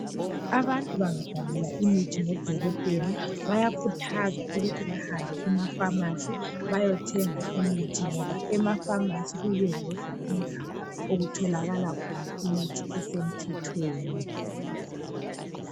Abantu bangabhalelwa imithi ngodokotela bayakhuthazwa ukuthi bahambe emafamasi bayothenga imithi ngoba emafamasi iyiyo yodwa indawo okutholakala khona imithi esemthethweni.